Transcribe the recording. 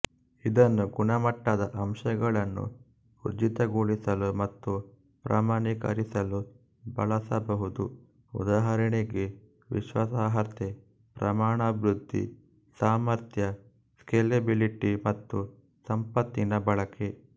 ಇದನ್ನು ಗುಣಮಟ್ಟದ ಅಂಶಗಳನ್ನು ಊರ್ಜಿತಗೊಳಿಸಲು ಮತ್ತು ಪ್ರಮಾಣೀಕರಿಸಲು ಬಳಸಬಹುದು ಉದಾಹರಣೆಗೆ ವಿಶ್ವಾಸಾರ್ಹತೆ ಪ್ರಮಾಣವೃದ್ಧಿ ಸಾಮರ್ಥ್ಯ ಸ್ಕೇಲೆಬಿಲಿಟಿ ಮತ್ತು ಸಂಪತ್ತಿನ ಬಳಕೆ